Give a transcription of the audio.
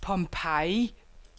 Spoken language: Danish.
Pompeii